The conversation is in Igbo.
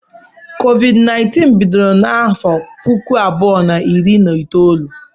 COVID-19 bidoro na afọ puku abụọ na iri na itoolu.